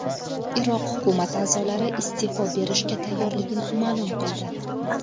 Iroq hukumati a’zolari iste’fo berishga tayyorligini ma’lum qildi.